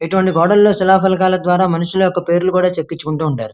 ఇటువంటి గోడలో శిలా పులహాల ద్వారా మనుషుల యొక్క పేర్లు కూడా చెక్కించుకుంటారు.